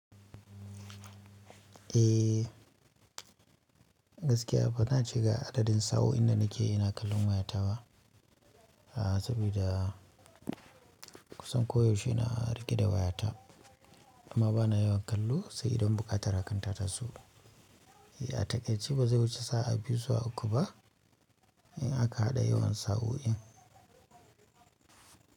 Eh gaskiya bana ci ga asalin sa'o'in da nake ina kallon wayata ba, saboda kusan koyaushe ina rike da wayata amma bana yawan kallo sai idan buƙatar hakanta ta so. Ya taƙai ce ba zai wuce sa'a biyu zuwa uku ba in aka haɗa yawan sa'o'in.